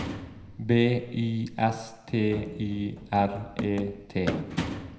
B Y S T Y R E T